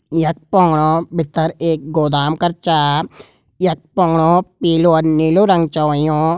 यख पाणौ भितर एक गोदाम कर चा यख पाणौ पीलू और नीलू रंग च हुयूं।